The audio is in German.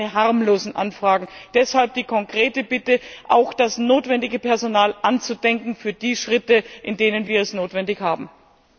Und das sind keine harmlosen Anfragen. Deshalb die konkrete Bitte, auch das notwendige Personal anzudenken für die Schritte, für die wir es benötigen.